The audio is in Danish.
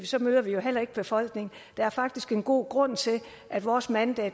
så møder vi heller ikke befolkningen der er faktisk en god grund til at vores mandag